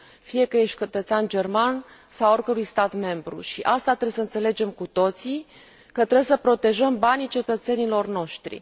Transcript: fie că ești cetățean german sau al oricărui stat membru și asta trebuie să înțelegem cu toții că trebuie să protejăm banii cetățenilor noștri.